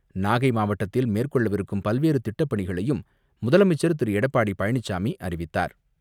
நாகை மாவட்டத்தில் மேற்கொள்ளவிருக்கும் பல்வேறு திட்டப் பணிகளையும் முதலமைச்சர் திரு எடப்பாடி பழனிசாமி அறிவித்தார்.